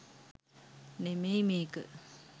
නෙමෙයි මේක.